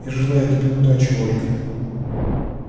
я желаю тебе удачи ольга